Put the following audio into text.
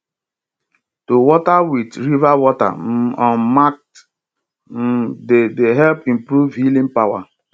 to water with river water um on market um day dey help improve healing power